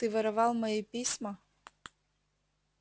ты воровал мои письма